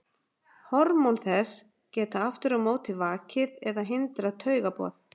Hormón þess geta aftur á móti vakið eða hindrað taugaboð.